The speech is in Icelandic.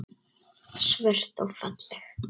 Svört og falleg.